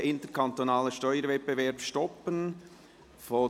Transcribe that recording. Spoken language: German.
«Standesinitiative: Interkantonaler Steuerwettbewerb stoppen […]».